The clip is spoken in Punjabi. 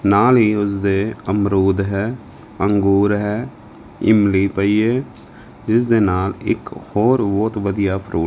ਨਾਲ ਹੀ ਉਸਦੇ ਅਮਰੂਦ ਹੈ ਅੰਗੂਰ ਹੈ ਇਮਲੀ ਪਈ ਏ ਜਿਸ ਦੇ ਨਾਲ ਇੱਕ ਹੋਰ ਬਹੁਤ ਵਧੀਆ ਫਰੂਟ --